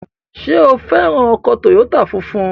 Ṣé o fẹ́ ra ọkọ̀ tòyótà funfun?